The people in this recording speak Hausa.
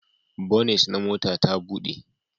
Bonit na mota ta buɗe